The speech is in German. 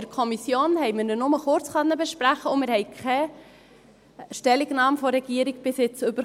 In der Kommission haben wir ihn nur kurz besprechen können, und wir haben bisher keine Stellungnahme der Regierung erhalten.